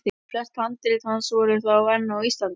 En flest handrit hans voru þá enn á Íslandi.